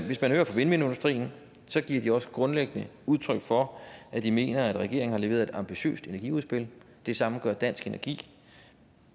hvis man hører vindmølleindustrien giver de også grundlæggende udtryk for at de mener at regeringen har leveret et ambitiøst energiudspil det samme gør dansk energi